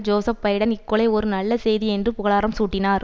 Joseph Biden இக்கொலை ஒரு நல்ல செய்தி என்று புகழாரமும் சூட்டினார்